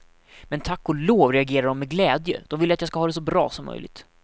Men tack och lov reagerade dom med glädje, dom vill att jag ska ha det så bra som möjligt.